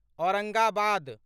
Aurangabad